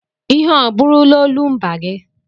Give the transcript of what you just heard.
Ihe ọ bụrụla olumba gị?